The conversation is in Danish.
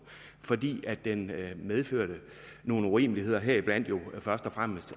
fordi den medførte nogle urimeligheder heriblandt jo først og fremmest